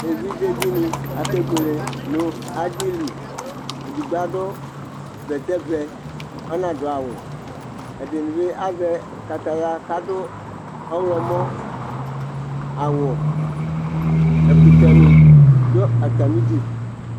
ɛvidze dini ɑkɛbuɛlɛ nɑdili ɛdigbo ɑdubɛtɛvɛ ɑạnɑduawu ɛdinibi ɑzɛkɑtɑyɑ kɑdu ɔhlomɔ ɑwu ɛkutɛnidu ɑtɑmidu